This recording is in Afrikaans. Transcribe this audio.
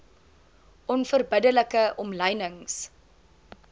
onverbidde like omlynings